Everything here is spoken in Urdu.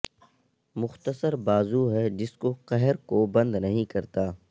مختصر بازو ہے جس کو قہر کو بند نہیں کرتا